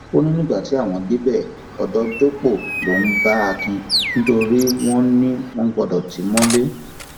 ó ní nígbà tí àwọn débẹ odò dọpọ lòún bá akin nítorí wọn ni wọn ò gbọdọ tì í mọlẹ